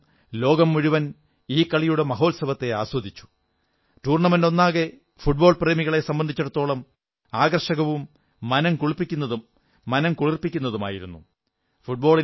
ഭാരതമടക്കം ലോകം മുഴുവൻ ഈ കളിയുടെ മഹോത്സവത്തെ ആസ്വദിച്ചു ടൂർണമെന്റ് ഒന്നാകെ ഫുട്ബോൾ പ്രേമികളെ സംബന്ധിച്ചിടത്തോളം ആകർഷകവും മനംകുളിർപ്പിക്കുന്നതുമായിരുന്നു